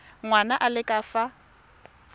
ngwana a le ka fa